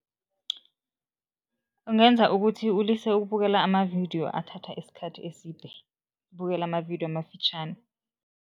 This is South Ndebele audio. Ungenza ukuthi ulise ukubukela amavidiyo athatha isikhathi eside, ubukele amavidiyo amafitjhani.